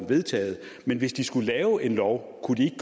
vedtaget men hvis de skulle lave en lov kunne de